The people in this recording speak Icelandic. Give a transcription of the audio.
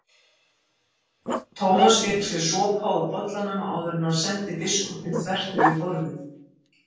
Thomas fékk sér sopa úr bollanum áður en hann sendi biskupinn þvert yfir borðið.